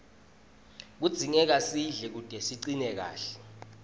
kudzingeka sidle kute sicine kahle